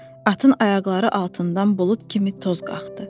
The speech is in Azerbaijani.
Atın ayaqları altından bulud kimi toz qalxdı.